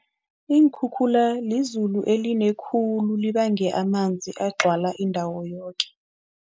Iinkhukhula lizulu eline khulu, libange amanzi agcwala indawo yoke.